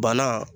Bana